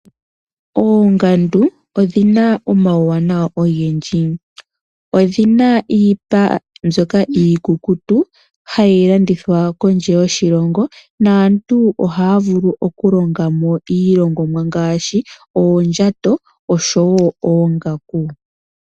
Oongandu odhi na omauwanawa ogendji, odhi na iipa mbyoka iikukutu hayi landithwa kondje yoshilongo naantu oha ya vulu okulongamo iilongomwa ngaashi oondjato oshowo oongaku.